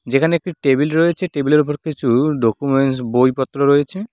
যেখানে একটি টেবিল রয়েছে টেবিল -এর উপর কিছু ডকুমেন্টস্ বইপত্র রয়েছে।